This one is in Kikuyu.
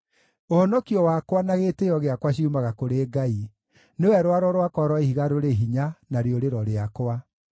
Ũhonokio wakwa na gĩtĩĩo gĩakwa ciumaga kũrĩ Ngai; nĩwe rwaro rwakwa rwa ihiga rũrĩ hinya, na rĩũrĩro rĩakwa.